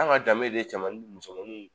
An ka danbe de ye cɛmanuw musomanuw.